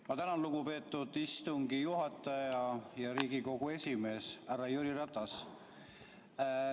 Ma tänan, lugupeetud istungi juhataja ja Riigikogu esimees härra Jüri Ratas!